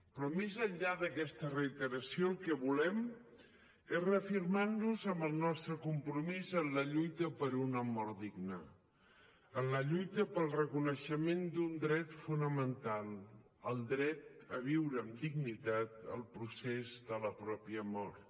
però més enllà d’aquesta reiteració el que volem és reafirmar nos en el nostre compromís en la lluita per una mort digna en la lluita pel reconeixement d’un dret fonamental el dret a viure amb dignitat el procés de la pròpia mort